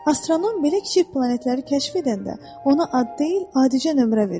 Astronom belə kiçik planetləri kəşf edəndə, ona ad deyil, adicə nömrə verir.